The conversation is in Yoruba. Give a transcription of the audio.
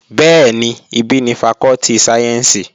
Bẹ́ẹ̀ni, ibí ni fakọ́tì sáyẹ́ǹsì